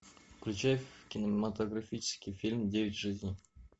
включай кинематографический фильм девять жизней